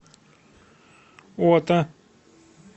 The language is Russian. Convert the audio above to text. ота